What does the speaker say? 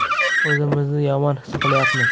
O‘zimizni yomon his qilyapmiz.